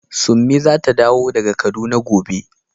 Summi zata dawo daga kaduna gobe.